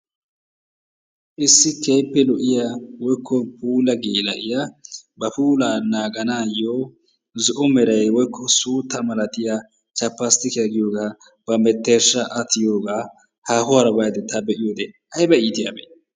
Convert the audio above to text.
Issi keehippe lo'iyaa woyikko puula geela'iyaa ba puula naganaayo zo'o meera woykko suutta milattiyaa 'chappastikiya' giyooga ba menttershaa a tiyooga haahuwara bayidda ta be'iyoode ayibba iittyaabe!